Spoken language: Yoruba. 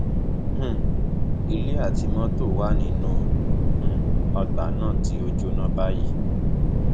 um ilé àti mọtò tó wà nínú um ọgbà náà ti ń jóná báyìí